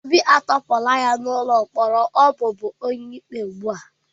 Obi a tọhapụrụ ya n'ụlọ mkpọrọ ọ bụbu onye ikpe ugbu a